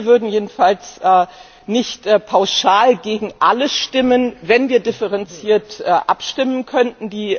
Wir würden jedenfalls nicht pauschal gegen alle stimmen, wenn wir differenziert abstimmen könnten.